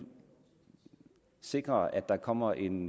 sikrer at der kommer en